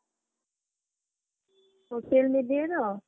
Social media ର